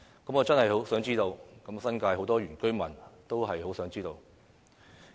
我真的很想知道，而很多新界原居民也很想知道。